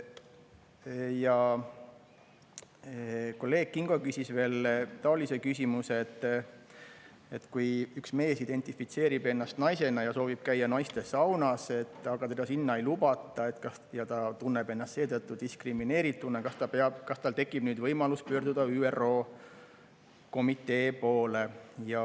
Ja kolleeg Kingo küsis veel küsimuse, et kui üks mees identifitseerib ennast naisena ja soovib käia naistesaunas, aga teda sinna ei lubata ja ta tunneb ennast seetõttu diskrimineerituna, kas tal tekib nüüd võimalus pöörduda ÜRO komitee poole.